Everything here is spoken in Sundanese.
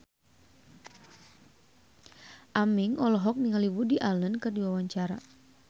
Aming olohok ningali Woody Allen keur diwawancara